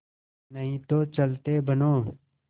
नहीं तो चलते बनो